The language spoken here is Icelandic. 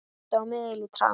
Minnti á miðil í trans.